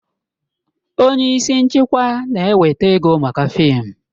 Onye isi nchịkwa na-eweta ego maka fịịm